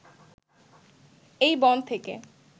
এই বন থেকে